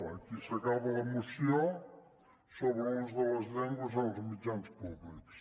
aquí s’acaba la moció sobre l’ús de les llengües en els mitjans públics